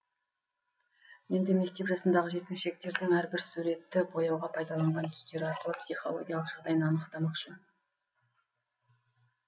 енді мектеп жасындағы жеткіншектердің әрбір суретті бояуға пайдаланған түстері арқылы психологиялық жағдайын анықтамақшы